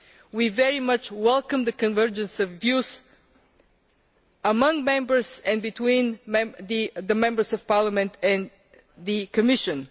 We very much welcome the convergence of views among Members and between the Members of Parliament and the Commission.